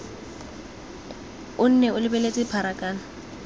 o nne o lebeletse pharakano